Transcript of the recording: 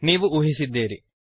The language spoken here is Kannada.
ನೀವು ಊಹಿಸಿದ್ದೀರಿ